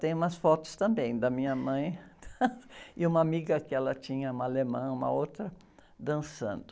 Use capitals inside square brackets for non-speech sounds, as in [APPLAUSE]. Tem umas fotos também da minha mãe [LAUGHS] e uma amiga que ela tinha, uma alemã, uma outra, dançando.